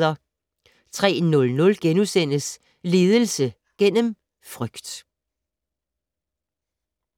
03:00: Ledelse gennem frygt *